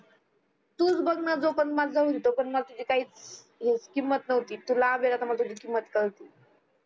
तूच बघण जोपर्यंत माझ्या जवळ होती तोपर्यंत मला तुझी काहीच किंमत नव्हती तू लांब आहे ना तर मला तुझी किंमत काळती